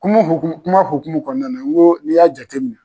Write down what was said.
Kuma hoku kuma hokumu kɔɔna na ŋo n'i y'a jateminɛ